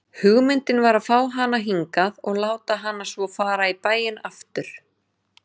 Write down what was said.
Hugmyndin var að fá hana hingað og láta hana svo fara í bæinn aftur.